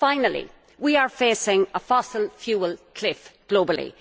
Finally, we are facing a fossil fuel cliff globally.